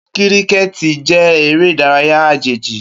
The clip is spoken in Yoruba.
Kíríkẹ̀tì jẹ́ eré ìdárayá àjèjì